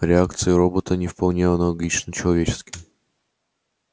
реакции робота не вполне аналогичны человеческим